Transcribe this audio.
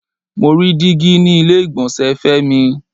Mo rí dígí ni ilé ìgbọ̀nsẹ̀ Femi.